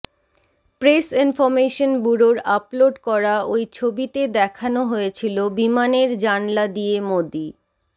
press information ব্যুরোর upload করা ঐ ছবিতে দেখানো হয়েছিল বিমানের জানলা দিয়ে মোদী